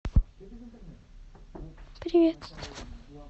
привет